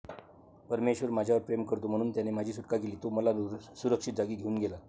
परमेश्वर माझ्यावर प्रेम करतो. म्हणून त्याने माझी सुटका केली. तो मला सुरक्षित जागी घेऊन गेला.